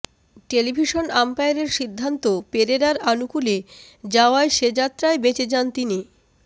television আম্পায়ারের সিদ্ধান্ত পেরেরার আনুকুলে যাওয়ায় সে যাত্রায় বেঁচে যান তিনি